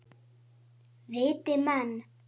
Einnig var hann góður kokkur.